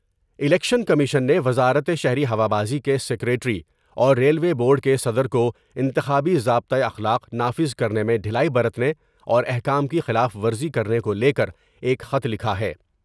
Election commission نے وزارت شہری ہوابازی کے سکریٹری اور ریلوے بورڈ کے صدر کو انتخابی ضابطہ اخلاق نافذ کرنے میں ڈھیلائی برتنے اور احکام کی خلاف ورزی کرنے کو لے کر ایک خط لکھا ہے ۔